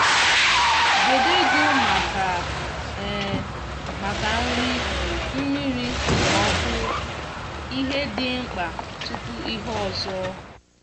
debe ego maka maka nri mmiri na ọkụ -ihe dị mkpa tupu ihe ọzọ